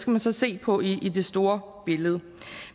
man så se på i det store billede